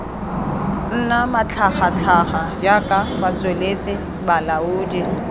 nna matlhagatlhaga jaaka batsweletsi balaodi